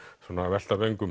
velta vöngum